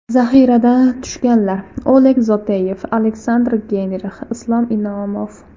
Zaxiradan tushganlar: Oleg Zoteyev, Aleksandr Geynrix , Islom Inomov.